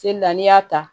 Seli la n'i y'a ta